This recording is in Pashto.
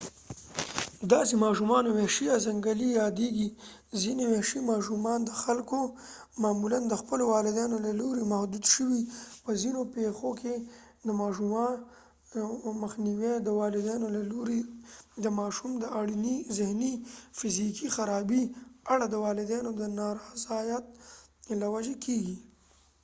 داسې ماشومانو وحشي یا ځنګلي یادېږي. ځینې وحشي ماشومان د خلکو معمولاً د خپلو والدینو له لورې محدود شوي؛ په ځینو پیښو کې د ماشوم مخنیوی د والدینو له لورې د ماشوم د اړینې ذهني یا فزیکي خرابۍ په اړه د والدینو د نارضایت له وجې کیږي